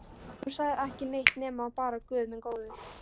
Hún sagði ekki neitt nema bara Guð minn góður.